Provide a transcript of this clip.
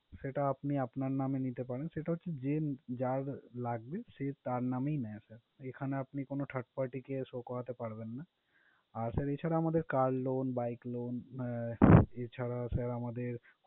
সেটা আপনি আপনার নামে নিতে পারেন। সেটা হচ্ছে, যে যার লাগবে সে তার নামই নেয় sir । এখানে আপনি কোনো third party কে show করাতে পারবেন না। আর এছাড়া আমাদের car loan, bike loan ah এছাড়াও sir আমাদের